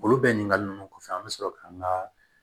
Olu bɛ ɲininkali ninnu kɔfɛ an bɛ sɔrɔ k'an ka